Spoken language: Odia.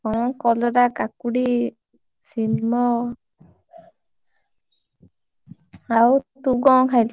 କଣ କଲରା, କାକୁଡି, ସିମ, ଆଉ ତୁ କଣ ଖାଇଲୁ?